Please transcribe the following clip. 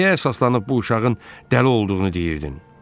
Nəyə əsaslanıb bu uşağın dəli olduğunu deyirdin?